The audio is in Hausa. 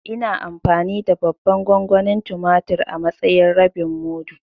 Ina amfani da babban gongonin tumatur a matsayin rabin mudu.